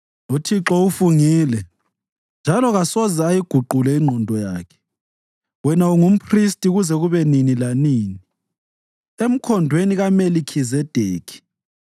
UThixo ufungile njalo kasoze ayiguqule ingqondo yakhe: “Wena ungumphristi kuze kube nini lanini emkhondweni kaMelikhizedekhi.”